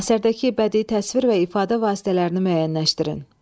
Əsərdəki bədii təsvir və ifadə vasitələrini müəyyənləşdirin.